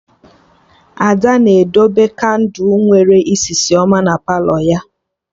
Ada na-edebe kandụ nwere isisi ọma na Palọ ya